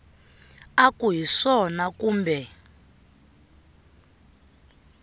u ku hi swona kumbe